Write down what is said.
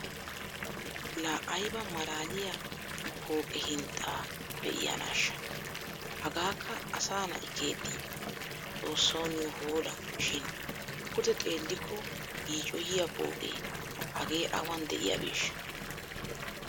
La ayba maalaliya pooqe hinxxaa be'iyaanasha! Hagaakka asa na'i keexxii? Xoossawu niyo hoola shiin pude xeellikko yiiccoyiyaa pooqee hagee awan diyaabeeshsha?